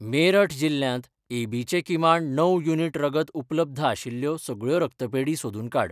मेरठ जिल्ल्यांत A B चे किमान णव युनिट रगत उपलब्ध आशिल्ल्यो सगळ्यो रक्तपेढी सोदून काड.